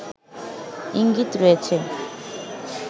ইঙ্গিত রয়েছে